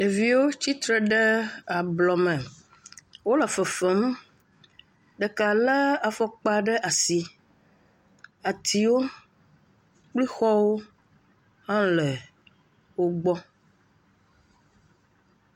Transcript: Ɖeviwo tsitre ɖe ablɔme wole fefem ɖeka lé afɔkpa ɖe asi atiwo kplexɔwo hã le wo gbɔ.